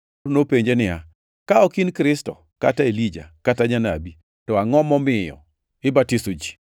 nopenje niya, “Ka ok in Kristo, kata Elija, kata janabi, to angʼo momiyo ibatiso ji?”